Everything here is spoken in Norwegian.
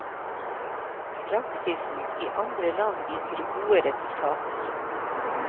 Praksisen i andre land viser gode resultater.